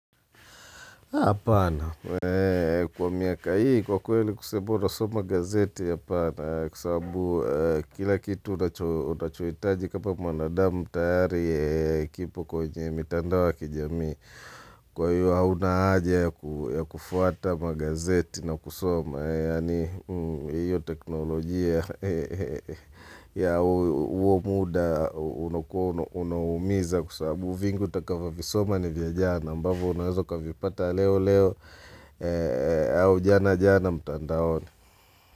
Kwa miaka hii kwa kweli kusema bora soma gazeti apana kwa sababu kila kitu unachohitaji kama mwanadamu tayari kipo kwenye mitandao ya kijamii kwa hiyo hauna haja ya kufuata magazeti na kusoma yaani hiyo teknolojia ya huo muda unakuwa unaumiza kwa sababu vingi utakavyo visoma ni vya jana ambavyo unaweza ukavipata leo leo au jana jana mtandaoni.